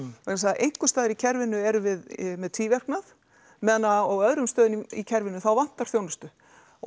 vegna þess að einhverstaðar í kerfinu erum við með tvíverknað meðan á öðrum stöðum í kerfinu þá vantar þjónustu og